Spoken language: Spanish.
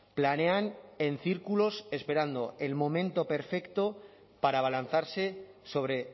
planean en círculos esperando el momento perfecto para abalanzarse sobre